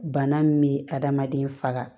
Bana min bɛ adamaden faga